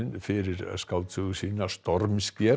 fyrir skáldsögu sína